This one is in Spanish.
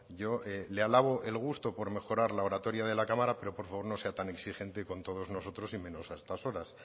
yo le alabo el gusto por mejorar la oratoria de la cámara pero por favor no sea tan exigente con todos nosotros y menos a estas horas